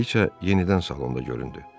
Kraliça yenidən salonda göründü.